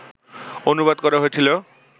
অনুবাদ করা হয়েছিল